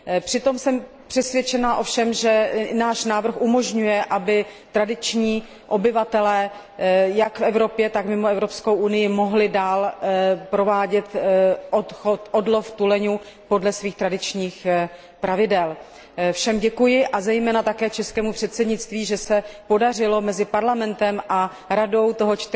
Přitom jsem ovšem přesvědčena, že i náš návrh umožňuje, aby tradiční obyvatelé jak v Evropě, tak mimo Evropskou unii mohli dál provádět odlov tuleňů podle svých tradičních pravidel. Všem děkuji, a zejména českému předsednictví, že se podařilo mezi Parlamentem a Radou toho